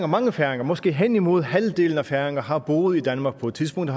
mange færinger måske hen imod halvdelen af alle færinger har boet i danmark på et tidspunkt og